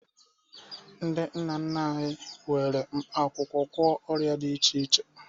Ndị nna nna anyị were mkpaakwụkwọ gwọọ ọrịa dị iche iche